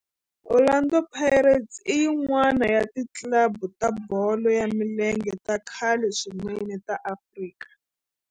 Orlando Pirates i yin'wana ya ti club ta bolo ya milenge ta khale swinene ta Afrika.